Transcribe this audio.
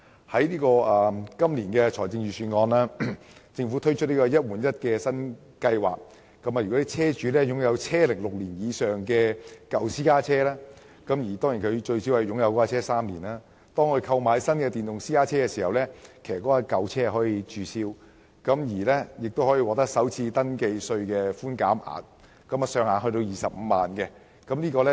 政府在本年的財政預算案推出"一換一"計劃，如果車主擁有車齡6年以上的舊私家車，並最少持有私家車3年，當他購買電動車時便可以註銷舊車，並可享有首次登記稅的寬免額，上限為25萬元。